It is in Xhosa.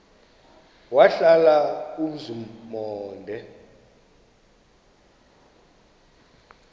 wahlala umzum omde